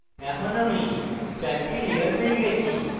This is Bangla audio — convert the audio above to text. এখন আমি চারটি লেয়ার পেয়ে গেছি